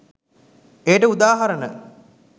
එයට උදාහරණ